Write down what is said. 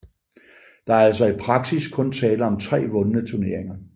Der er altså i praksis kun tale om tre vundne turneringer